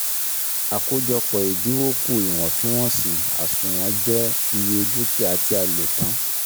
Àkójọpọ̀ ìdinwó kù iwọntún-wọnsì àsùnwọ̀n je iye dúkìá tí a "lò tán